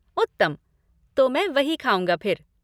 उत्तम! तो मैं वही खाऊँगा फिर।